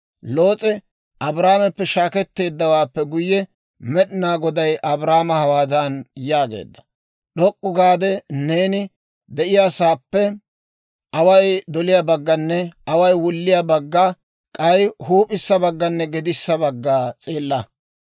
Loos'e Abraameppe shaaketteeddawaappe guyye, Med'inaa Goday Abraama hawaadan yaageedda; «D'ok'k'u gaade neeni de'iyaasaappe away doliyaa bagganne away wulliyaa bagga, k'ay huup'issa bagganne gedissa bagga s'eella.